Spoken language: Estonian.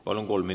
Palun!